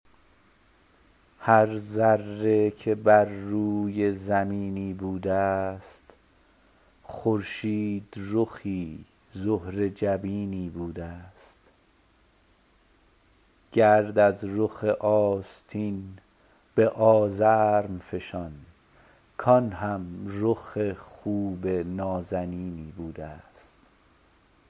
هر ذره که بر روی زمینی بوده است خورشید رخی زهره جبینی بوده است گرد از رخ آستین به آزرم فشان کآن هم رخ خوب نازنینی بوده است